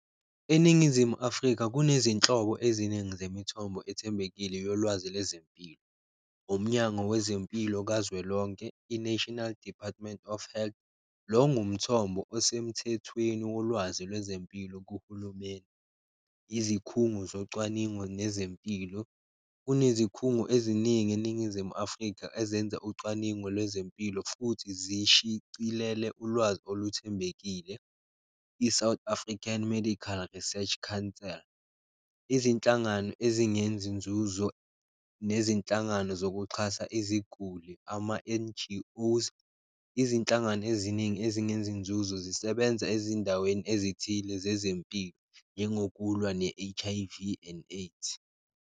ENingizimu Afrika kunezinhlobo eziningi zemithombo ethembekile yolwazi lezempilo, Umnyango wezeMpilo kazwelonke, i-National Department of Health, lo ngumthombo osemthethweni wolwazi lwezempilo kuhulumeni. Izikhungo zocwaningo nezempilo, kunezikhungo eziningi eNingizimu Afrika ezenza ucwaningo lwezempilo futhi zishicilele ulwazi oluthembekile, I-South African Medical Research Counsel Right. Izinhlangano ezingenzi nzuzo nezinhlangano zokuxhasa iziguli ama-N_G_Os, izinhlangano eziningi ezingenzi nzuzo zisebenza ezindaweni ezithile zezempilo, njengokulwa ne-H_I_V and AIDS.